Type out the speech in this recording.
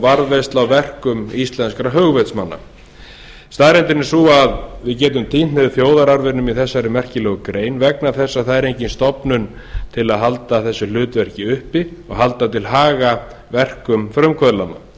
varðveisla á verkum íslenskra hugvitsmanna staðreyndin er sú að við getum tínt niður þjóðararfinum í þessari merkilegu grein vegna þess að það er enginn stofnun til að halda þessu hlutverki uppi og halda til haga verkum frumkvöðlanna